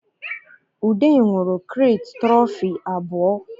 Ude nwụrụ kirete tụrọfi abụọ